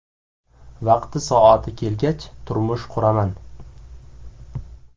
Vaqti-soati kelgach, turmush quraman.